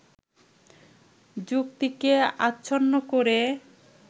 যুক্তিকে আচ্ছন্ন করে